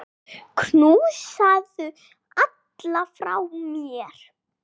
Knúsaðu alla frá mér.